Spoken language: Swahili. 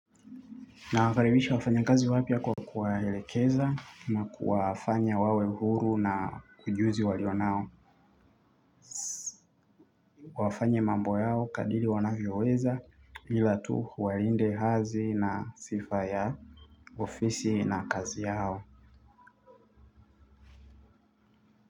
Nawakaribisha wafanyakazi wapya kwa kuwaelekeza na kuwafanya wawe uhuru na ujuzi walio nao wafanye mambo yao kadiri wanavyoweza ila tu walinde hadhi na sifa ya ofisi na kazi yao.